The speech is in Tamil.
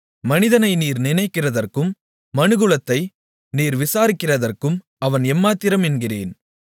மனிதனை நீர் நினைக்கிறதற்கும் மனுக்குலத்தை நீர் விசாரிக்கிறதற்கும் அவன் எம்மாத்திரம் என்கிறேன்